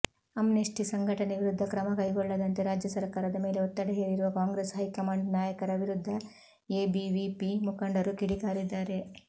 Amnesty ಸಂಘಟನೆ ವಿರುದ್ಧ ಕ್ರಮಕೈಗೊಳ್ಳದಂತೆ ರಾಜ್ಯಸರ್ಕಾರದ ಮೇಲೆ ಒತ್ತಡ ಹೇರಿರುವ ಕಾಂಗ್ರೆಸ್ ಹೈಕಮಾಂಡ್ ನಾಯಕರ ವಿರುದ್ಧ ಎಬಿವಿಪಿ ಮುಖಂಡರು ಕಿಡಿಕಾರಿದ್ದಾರೆ